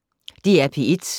DR P1